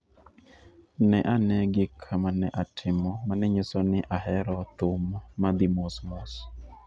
Ne ane gik ma ne atimo ma ne nyiso ni ahero thum mar thum ma dhi mos mos